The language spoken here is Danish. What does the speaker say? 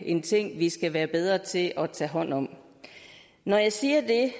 en ting vi skal være bedre til at tage hånd om når jeg siger det